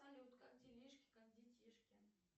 салют как делишки как детишки